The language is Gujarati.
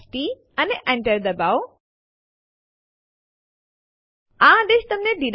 જો બે ફાઈલો સમાન સમાવિષ્ટ ધરાવતા હોય તો પછી કોઈ સંદેશો પ્રદર્શિત ન થશે